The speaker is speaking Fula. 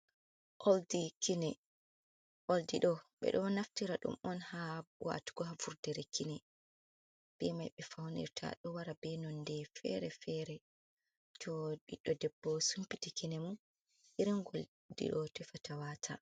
Oldi kine oldi ɗo ɓedo naftira ɗum on ha watugo ha vurdere kine be mai ɓe faunirta ɗo wara be nonde fere-fere to ɓiɗɗo debbo sumpiti kine mum irin gol ɗiɗo tefata wata.